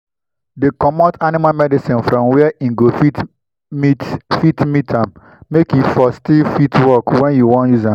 dey comot animal medicine from where[um]go fit meet fit meet am make e for still fit work when you wan use am